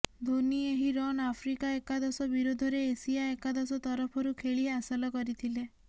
ଧୋନି ଏହି run Africa ଏକାଦଶ ବିରୋଧରେ ଏସିଆ ଏକାଦଶ ତରଫରୁ ଖେଳି ହାସଲ କରିଥିଲେ